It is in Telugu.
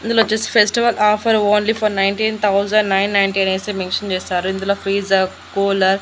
ఇందులొచ్చేసి festival offer only for nineteen thousand nine ninety అనేసి మెన్షన్ చేశారు ఇందులో ఫ్రీజర్ కూలర్ --